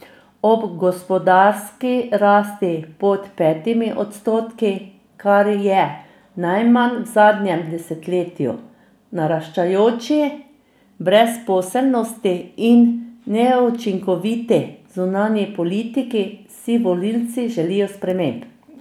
Ob gospodarski rasti pod petimi odstotki, kar je najmanj v zadnjem desetletju, naraščajoči brezposelnosti in neučinkoviti zunanji politiki si volivci želijo sprememb.